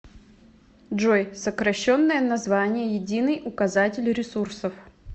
джой сокращенное название единый указатель ресурсов